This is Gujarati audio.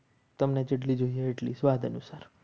તમને જેટલી જોઈએ એટલી સ્વાદ અનુસાર